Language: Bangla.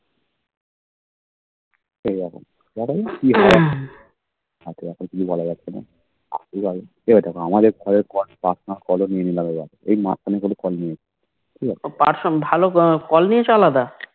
বলা যাচ্ছেনা আমাদের এই দেখ ঘরের Call personal call নিয়ে নিলাম আলাদা এই মাঝখানে কিন্তু Call নিয়ে নিলাম ঠিকাছে হে